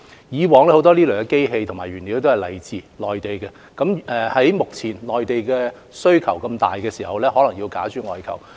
以往這些機器及原材料大多來自內地，在目前內地需求殷切的情況下，可能要假諸外求。